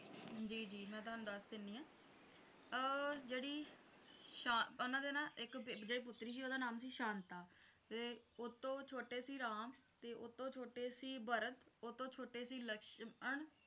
ਜੀ ਜੀ ਮੈਂ ਤੁਹਾਨੂੰ ਦੱਸ ਦਿੰਨੀ ਹਾਂ ਅਹ ਜਿਹੜੀ ਉਨ੍ਹਾਂ ਦੇ ਨਾ ਇੱਕ ਪੁੱਤਰੀ ਸੀ ਓਹਦਾ ਨਾਮ ਸੀ ਸ਼ਾਂਤਾ ਤੇ ਉਤੇ ਛੋਟੇ ਸੀ ਰਾਮ ਤੇ ਉਸ ਤੋਂ ਛੋਟੇ ਸੀ ਭਰਤ ਉਸਤੋਂ ਛੋਟੇ ਸੀ ਲਕਸ਼ਮਣ